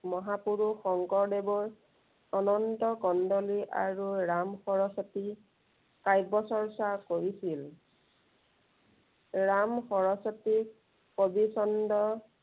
মহাপুৰুষ শংকৰদেৱৰ, অনন্ত কণ্ডলী আৰু ৰাম সৰস্বতীৰ, কাব্য় চৰ্চা কৰিছিল। ৰাম সৰস্বতীৰ কবি চণ্ড